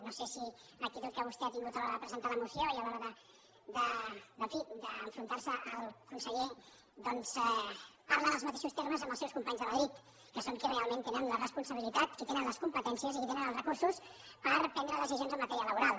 no sé si l’actitud que vostè ha tingut a l’hora de presentar la moció i a l’hora en fi d’enfrontar se al conseller doncs parla en els mateixos termes que amb els seus companys de madrid que són qui realment tenen la responsabilitat qui tenen les competències i qui tenen els recursos per prendre decisions en matèria laboral